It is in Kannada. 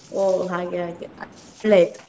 ಒಹ್ ಹಾಗೆ ಹಾಗೆ ಒಳ್ಳೆಯಾಯ್ತು.